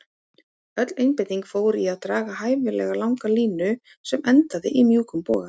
Öll einbeitingin fór í að draga hæfilega langa línu sem endaði í mjúkum boga.